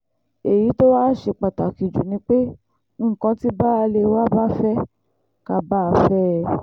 èyí tó wàá ṣe pàtàkì jù ni pé nǹkan tí baálé wa bá fẹ́ ká bá a fẹ́ ẹ